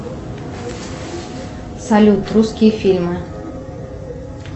салют русские фильмы